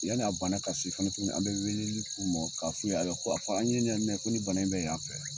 Yani a bana ka se fana tuguni an bɛ weeleli k'u mɔ k'a fu ye, ayiwa, ko a fɔ an ɲɛ ɲɛ ni mɛn, ko ni bana in bɛ yan fɛ